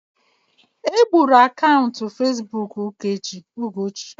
Egburu akaụntụ Facebook Ugochi.